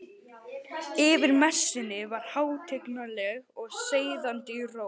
Yfir messunni var hátignarleg og seiðandi ró.